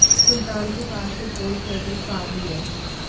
सुल्तान के पास एक गोल्ड प्लेटेड कार भी है